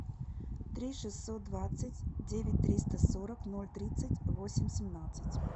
три шестьсот двадцать девять триста сорок ноль тридцать восемь семнадцать